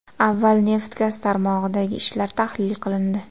Avval neft-gaz tarmog‘idagi ishlar tahlil qilindi.